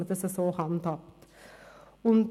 Schauen Sie doch mal genau hin!